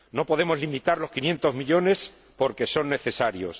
No podemos limitar los 500 millones porque son necesarios.